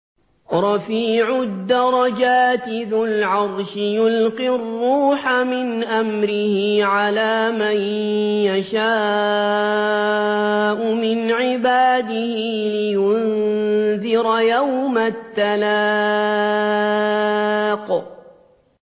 رَفِيعُ الدَّرَجَاتِ ذُو الْعَرْشِ يُلْقِي الرُّوحَ مِنْ أَمْرِهِ عَلَىٰ مَن يَشَاءُ مِنْ عِبَادِهِ لِيُنذِرَ يَوْمَ التَّلَاقِ